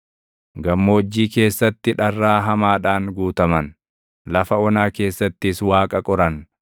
Gammoojjii keessatti dharraa hamaadhaan guutaman; lafa onaa keessattis Waaqa qoran.